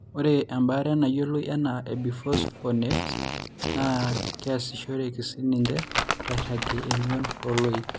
Ore embaare nayioloi anaa ebisphosphonates naa keasishoreki siininche airagie emion ooloik.